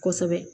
Kosɛbɛ